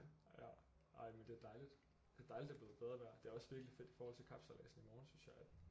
Ja ej men det er dejligt det er dejligt det er blevet bedre vejr det er også virkelig fedt i forhold til kapsejladsen i morgen synes jeg at